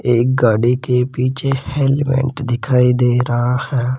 एक गाड़ी के पीछे हेलमेट दिखाई दे रहा है।